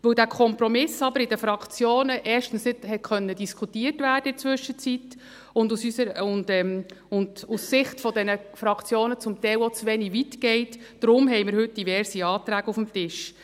Weil dieser Kompromiss aber in den Fraktionen in der Zwischenzeit erstens nicht diskutiert werden konnte und aus Sicht dieser Fraktionen zum Teil auch zu wenig weit geht, haben wir heute diverse Anträge auf dem Tisch.